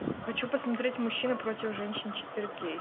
хочу посмотреть мужчины против женщин четыре кей